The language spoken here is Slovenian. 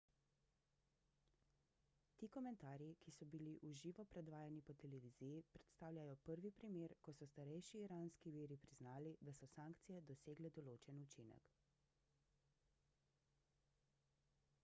ti komentarji ki so bili v živo predvajani po televiziji predstavljajo prvi primer ko so starejši iranski viri priznali da so sankcije dosegle določen učinek